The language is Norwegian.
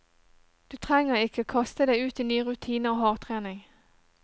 Du trenger ikke kaste deg ut i nye rutiner og hardtrening.